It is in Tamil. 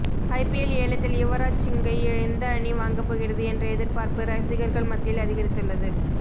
ஐபிஎல் ஏலத்தில் யுவராஜ் சிங்கை எந்த அணி வாங்கப்போகிறது என்ற எதிர்பார்ப்பு ரசிகர்கள் மத்தியில் அதிகரித்துள்ளது